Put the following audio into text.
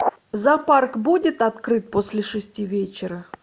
зоопарк будет открыт после шести вечера